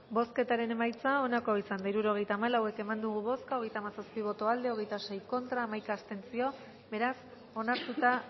bozketaren emaitza onako izan da hirurogeita hamalau eman dugu bozka hogeita hamazazpi boto aldekoa hogeita sei contra hamaika abstentzio beraz onartuta